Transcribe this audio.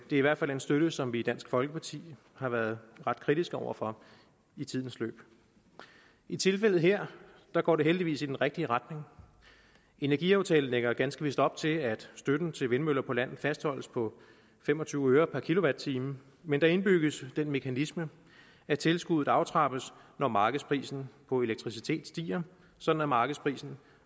i hvert fald en støtte som vi i dansk folkeparti har været ret kritiske over for i tidens løb i tilfældet her går det heldigvis i den rigtige retning energiaftalen lægger ganske vist op til at støtten til vindmøller på land fastholdes på fem og tyve øre per kilowatt time men der indbygges den mekanisme at tilskuddet aftrappes når markedsprisen på elektricitet stiger så markedsprisen